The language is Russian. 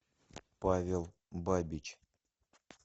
павел бабич